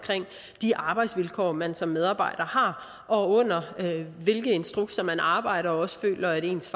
de arbejdsvilkår man som medarbejder har og under hvilke instrukser man arbejder og også føler at ens